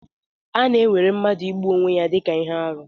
A na-ewere mmadụ igbu onwe ya dị ka ihe arụ.